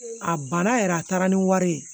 A banna yɛrɛ a taara ni wari ye